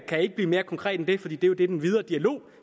kan ikke blive mere konkret end det fordi det er jo det den videre dialog